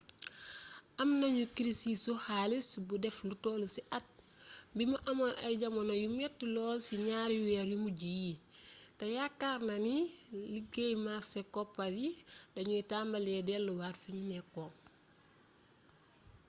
am nañu kirisu xaalis bu def lu toll ci at bi amoon ay jamono yu metti lool ci ñaari weer yu mujj yi te yaakaar naa ni léegi màrse koppar yi dañuy tambalee delluwaat fiñu nekkoon